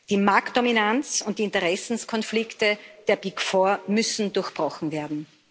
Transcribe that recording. Die Marktdominanz und die Interessenskonflikte der Big Four müssen durchbrochen werden.